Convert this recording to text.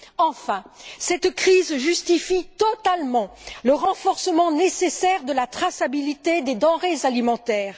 Enfin, cette crise justifie totalement le renforcement nécessaire de la traçabilité des denrées alimentaires.